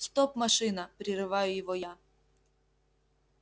стоп машина прерываю его я